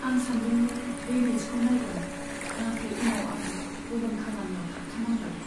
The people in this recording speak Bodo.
आं सानदोंमोन बे मेचखौ नायगोन, नाथाय उनाव आं गुबुन खामानियाव थाबथानांबाय।